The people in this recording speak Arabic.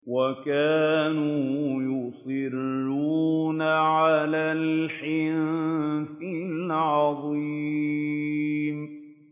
وَكَانُوا يُصِرُّونَ عَلَى الْحِنثِ الْعَظِيمِ